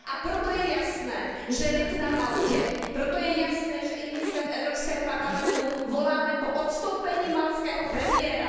A proto je jasné, že lid na Maltě, proto je jasné, že i my zde v Evropském parlamentu voláme po odstoupení maltského premiéra.